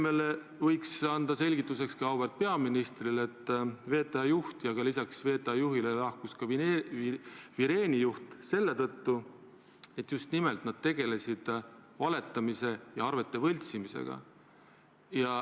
Helle-Moonika Helmele ja ka auväärt peaministrile võiks öelda selgituseks, et VTA juht ja lisaks temale ka Vireeni juht lahkusid ametist seetõttu, et nad tegelesid just nimelt valetamise ja arvete võltsimisega.